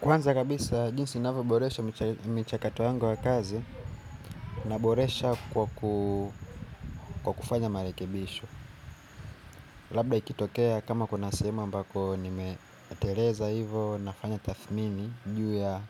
Kwanza kabisa jinsi inavyo boresho mchakato wangu wa kazi. Na boresha kwa kufanya marekebisho. Labda ikitokea kama kuna sehemu ambako nime teleza hivo nafanya tathmini juu ya